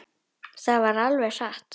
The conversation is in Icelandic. Það var alveg satt.